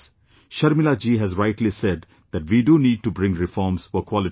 Sharmila ji has rightly said that we do need to bring reforms for quality education